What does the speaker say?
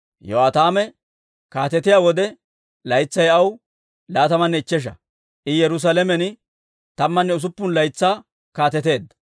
Yo'aataame kaatetiyaa wode, laytsay aw laatamanne ichchesha; I Yerusaalamen tammanne usuppun laytsaa kaateteedda.